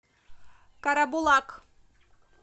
карабулак